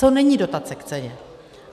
Co není dotace k ceně.